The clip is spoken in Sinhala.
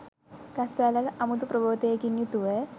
ගස් වැල්වල අමුතු ප්‍රබෝධයකින් යුතුව